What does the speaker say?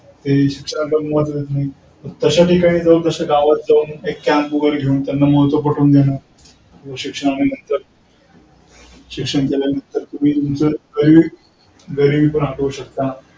तशा ठिकाणी जाऊन तशा गावात जाऊन एक कॅम्प वगैरे घेऊन त्यांना महत्व पटवून देणं शिक्षणाबद्दल. शिक्षण केल्यांनतर तुम्ही तुमचा गरीब गरिबीही हाकलू शकता.